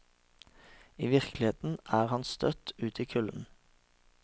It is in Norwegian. I virkeligheten er han støtt ut i kulden.